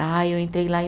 Ah, eu entrei lá em